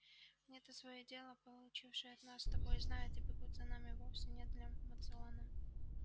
они то своё дело получше нас с тобой знают и бегут за нами вовсе не для моциона